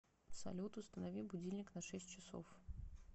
салют установи будильник на шесть часов